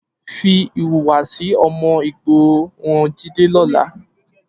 Fi ìhùwàsí ọmọ ìgboro han Jídé lọ́la.